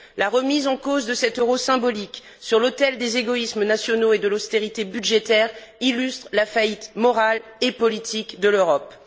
La remise en cause de cet euro symbolique sur l'autel des égoïsmes nationaux et de l'austérité budgétaire illustre la faillite morale et politique de l'Europe.